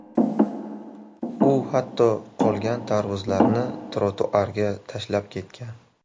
U hatto qolgan tarvuzlarni trotuarga tashlab ketgan.